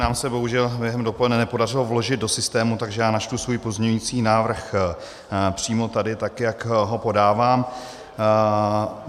Nám se bohužel během dopoledne nepodařilo vložit do systému, takže já načtu svůj pozměňující návrh přímo tady tak, jak ho podávám.